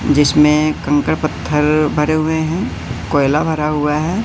जिसमें कंकड़ पत्थर भरे हुए हैं कोयला भरा हुआ हैं।